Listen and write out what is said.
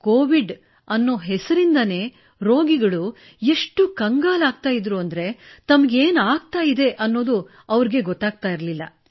Covid ಹೆಸರಿನಿಂದಲೇ ರೋಗಿಗಳು ಎಷ್ಟು ಕಂಗಾಲಾಗುತ್ತಿದ್ದರೆಂದರೆ ತಮಗೇನು ಆಗುತ್ತಿದೆ ಎನ್ನುವುದು ಅವರಿಗೆ ತಿಳಿಯುತ್ತಿರಲಿಲ್ಲ